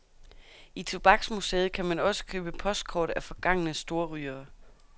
I tobaksmuseet kan man også købe postkort af forgangne storrygere.